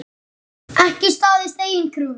Ekki staðist eigin kröfur.